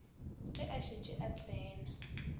ge a šetše a tsene